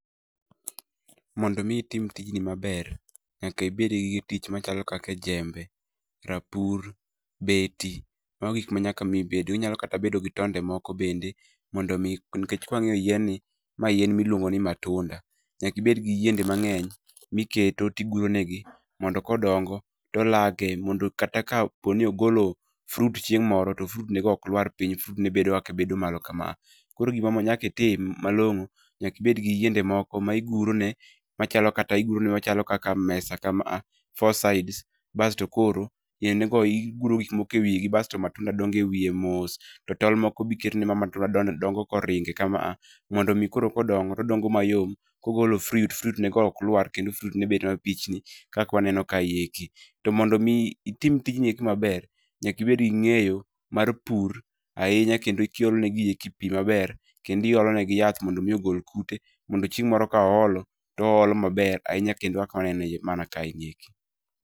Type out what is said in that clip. Mondo mi itim tijni maber, nyaka ibed gi gi tich machalo kaka jembe, rapur, beti mago gik ma nyaka mi ibedgo, inyalo kata bedo gi tonde moko bende mondo mi nikech ka wang'iyo yien ni ma yien miluongo ni matunda, nyaka ibed gi yiende mang'eny ma iketo to iguro negi, mondo ka odongo olakie mondo kata ka poni ogolo fruit chieng' moro to fruit nego ok lwar piny, fruit nego bedo kaka bedo malo kama. Koro gima nyaka itim malong'o nyaka ibed gi yiende moko ma iguro ne iguro machalom kata kaka mesa kama a four sides bas to koro yiendego iguro gik moko ewigi kasto matunda dongo ewiye mos to tol moko be iketo ma matunda dongo kanoringe kama a mondo omi koro ka odongo to odongo mayom, kogolo fruit to fruit nego ok lwar kendo fruit, nego bedo mapichni kaka waneno kaeki. To mondo mi itim ijni eki maber, nyaka ibed gi ng'eyo mar pur ahinya kendo iolo negi pi maber kendo iolo negi yath maber mondo mi ogol kute chieng' moro ka oolo to oolo maber ahinya kendo kaka waneno mana kaegi eki.